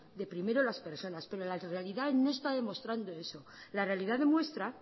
de primero las personas pero la realidad no está demostrando eso la realidad demuestra